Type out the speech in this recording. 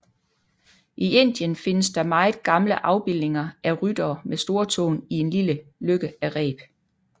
I Indien findes der meget gamle afbildninger af ryttere med storetåen i en lille løkke af reb